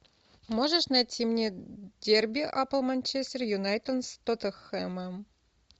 можешь найти мне дерби апл манчестер юнайтед с тоттенхэмом